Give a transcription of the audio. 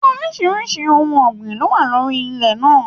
Oríṣiríṣi ohùn ọgbin ló wà lórí ilẹ̀ náà.